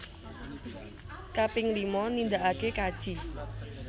Kaping lima nindaake kaji